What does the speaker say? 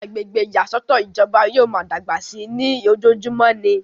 àwọn agbègbè ìyàsọ́tọ̀ ìjọba yóò máa dàgbà sí i ní ojojúmọ́ ni